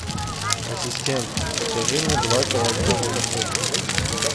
ассистент закажи мне два килограмма картошки